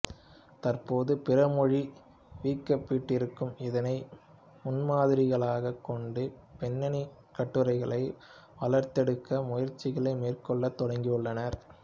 தற்போது பிற மொழி விக்கிப்பீடியரும் இதனை முன்மாதிரிகளாகக் கொண்டு பெண்ணினக் கட்டுரைகளை வளர்த்தெடுக்க முயற்சிகளை மேற்கொள்ளத் தொடங்கியுள்ளனர்